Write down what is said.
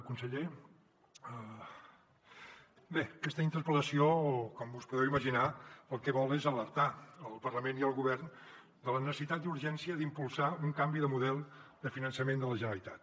conseller aquesta interpel·lació com us podeu imaginar el que vol és alertar el parlament i el govern de la necessitat i urgència d’impulsar un canvi de model de finançament de la generalitat